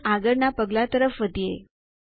અને આગળના પગલાં તરફ વધીએ